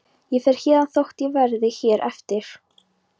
Ég fer héðan þótt ég verði hér eftir.